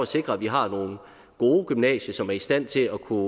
sikre at vi har nogle gode gymnasier som er i stand til at kunne